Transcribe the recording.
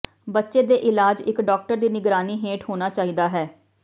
ਬੱਚੇ ਦੇ ਇਲਾਜ ਇਕ ਡਾਕਟਰ ਦੀ ਨਿਗਰਾਨੀ ਹੇਠ ਹੋਣਾ ਚਾਹੀਦਾ ਹੈ